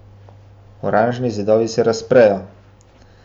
Oranžni zidovi se razprejo.